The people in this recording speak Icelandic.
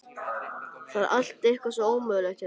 Það er allt eitthvað svo ómögulegt hérna.